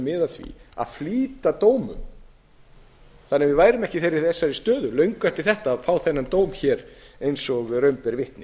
miða að því að flýta dómum þar eð við værum ekki í þeirri stöðu löngu eftir þetta að fá þennan dóm eins og raun ber vitni